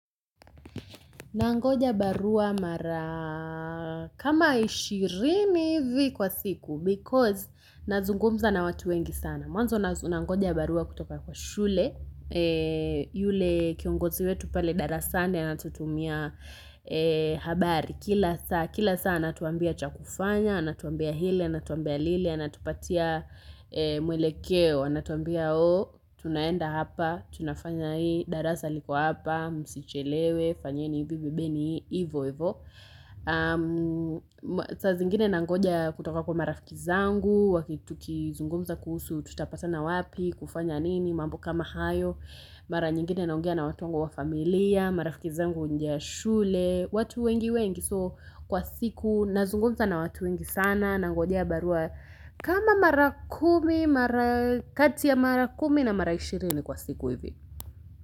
Nangoja barua mara kama ishirini hivi kwa siku Because nazungumza na watu wengi sana Mwanzo nangoja barua kutoka kwa shule yule kiongozi wetu pale darasani anatutumia habari kila saa Kila saa anatuambia cha kufanya, anatuambia ile, anatuambia lile, anatupatia mwelekeo anatuambia tunaenda hapa, tunafanya hii, darasa liko hapa, msichelewe, fanyeni hivi, bibeni hii, hivo hivo saa zingine nangoja kutoka kwa marafiki zangu, tukizungumza kuhusu tutapatana wapi, kufanya nini, mambo kama hayo Mara nyingine naongea na watu wangu wa familia, marafiki zangu nje ya shule, watu wengi wengi so kwa siku nazungumza na watu wengi sana nangojea barua kama mara kumi mara kati ya mara kumi na mara ishirini kwa siku hivi.